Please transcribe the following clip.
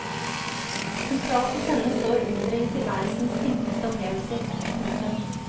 Sentralt hos henne står underet i tilværelsens enkleste opplevelser. punktum